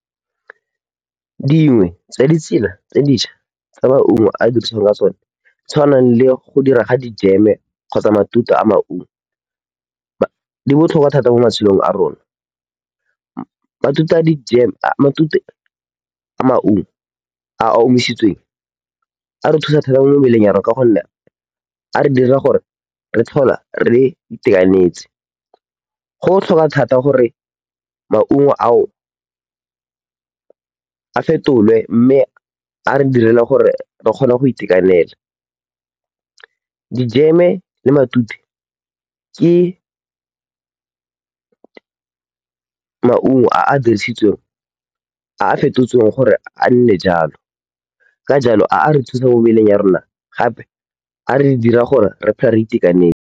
Dingwe tsa ditsela tse di šwa tse maungo a dirisiwang ka tsone di tshwanang le go dirwa ga dijeme kgotsa matute a maungo di botlhokwa thata mo matshelong a rona. Matute a dijeme, matute a maungo a a omisitsweng a re thusa thata mo mmeleng ya rona ka gonne a re dira gore re tlhole re itekanetse. Go botlhokwa thata gore maungo ao a fetolwe mme a re direle gore re kgone go itekanela. Dijeme le matute ke maungo a a dirisitsweng, a a fetotsweng gore a nne jalo. Ka jalo, a a re thusa mo mmeleng ya rona gape a re dira gore re phele re itekanele.